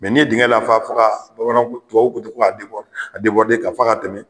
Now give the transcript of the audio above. n'i ye digɛn lafa fo ka bamanan tubabuw ko ten ko ka k'a fa ka tɛmɛ.